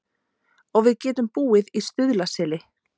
Og við getum búið í Stuðlaseli.